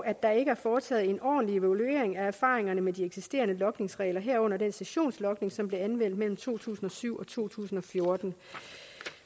er ikke foretaget en ordentlig evaluering af erfaringerne med de eksisterende logningsregler herunder den sessionslogning som blev anvendt mellem to tusind og syv og to tusind og fjorten